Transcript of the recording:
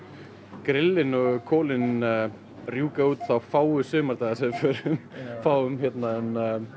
grillin og kolin rjúka út þá fáu sumardaga sem við fáum en